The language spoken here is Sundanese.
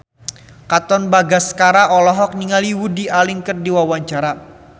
Katon Bagaskara olohok ningali Woody Allen keur diwawancara